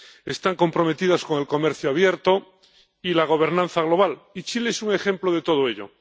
Están comprometidas con el comercio abierto y la gobernanza global, y Chile es un ejemplo de todo ello.